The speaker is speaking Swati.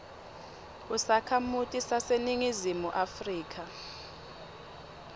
usakhamuti saseningizimu afrika